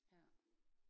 Ja